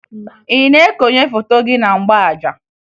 Ị na-ekonye foto gị na mgbaaja?